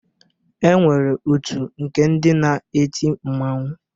E nwere otu nke ndị na-eti mmanwụ